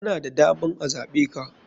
Kana da daman a zaɓeka.